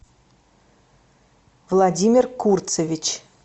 владимир курцевич